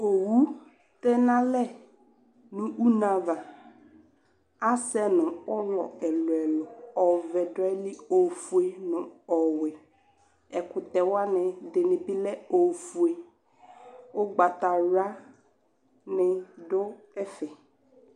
Owu tɛ n'alɛ nʋ une ava Asɛ nʋ ʋlɔ ɛlʋ ɛlʋ Ɔvɛ dʋ ayili, ofue nʋ ɔwɛ Ɛkʋtɛwsni bi lɛ ofue Ʋgbatawla ni dʋ ɛfɛ